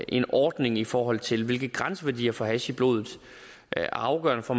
en ordning i forhold til hvilke grænseværdier for hash i blodet der er afgørende for